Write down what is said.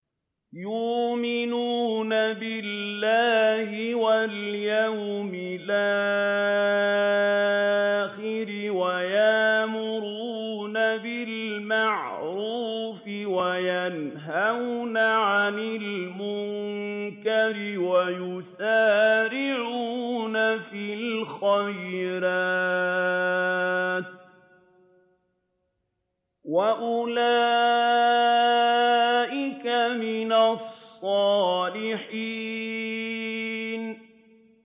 يُؤْمِنُونَ بِاللَّهِ وَالْيَوْمِ الْآخِرِ وَيَأْمُرُونَ بِالْمَعْرُوفِ وَيَنْهَوْنَ عَنِ الْمُنكَرِ وَيُسَارِعُونَ فِي الْخَيْرَاتِ وَأُولَٰئِكَ مِنَ الصَّالِحِينَ